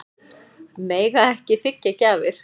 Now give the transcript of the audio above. Mega ekki þiggja gjafir